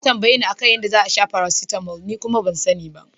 Ya tambayeni a kan yadda za'a sha paracetamol ni kuma ban sani ba.